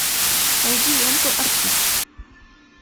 найди ленту артист